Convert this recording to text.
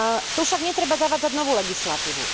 Tu však netreba zavádzať novú legislatívu.